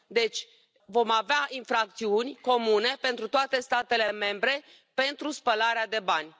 Deci vom avea infracțiuni comune pentru toate statele membre pentru spălarea de bani.